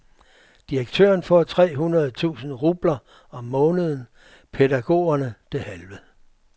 Direktøren får tre hundrede tusind rubler om måneden, pædagogerne det halve.